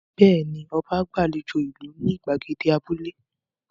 Bẹ́ẹ̀ ni, ọba gbàlejò ìlú ní ìgbàgede abúlé.